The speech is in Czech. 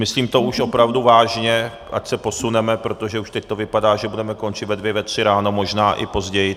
Myslím to už opravdu vážně, ať se posuneme, protože už teď to vypadá, že budeme končit ve dvě, ve tři ráno, možná i později.